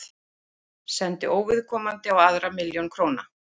Sendi óviðkomandi á aðra milljón króna